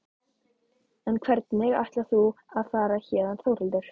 En hvernig ætlar þú að fara héðan Þórhildur?